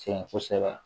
Sɛgɛn kosɛbɛ